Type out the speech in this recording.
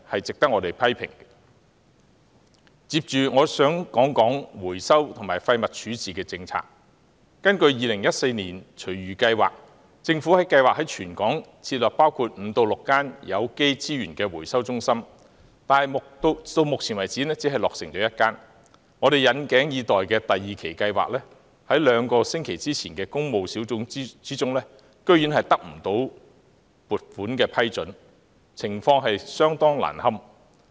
根據2014年推出的《香港廚餘及園林廢物計劃 2014-2022》，政府計劃於全港設立5間至6間有機資源回收中心，但目前為止只落成1間，我們引頸以待的第二期計劃，在兩星期前的工務小組委員會會議中，撥款居然未獲批准，情況相當難堪。